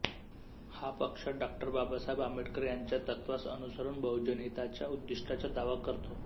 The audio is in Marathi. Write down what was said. हा पक्ष डॉ बाबासाहेब आंबेडकर यांच्या तत्त्वांस अनुसरून बहुजनहिताच्या उद्दिष्टाचा दावा करतो